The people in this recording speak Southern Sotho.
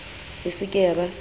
e se ke ya ba